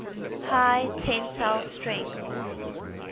high tensile strength